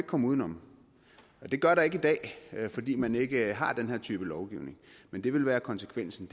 komme uden om det gør der ikke i dag fordi man ikke har den her type lovgivning men det vil være konsekvensen